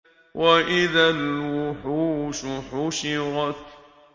وَإِذَا الْوُحُوشُ حُشِرَتْ